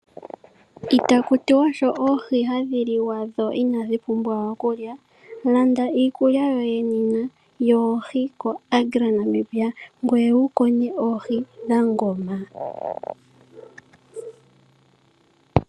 Itaku tiwa oohi sho hadhi liwa dho inadhi pumbwa okulya. Landa iikulya yoye nena yoohi ko Agra Namibia ngweye wu konye oohi dha ngoma.